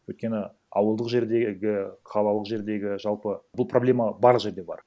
өйткені ауылдық жердегі қалалық жердегі жалпы бұл проблема барлық жерде бар